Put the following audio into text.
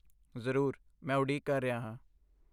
ਜ਼ਰੂਰ। ਮੈਂ ਉਡੀਕ ਕਰ ਰਿਹਾ ਹਾਂ।